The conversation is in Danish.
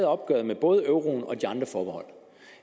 opgøret med både euroen og de andre forbehold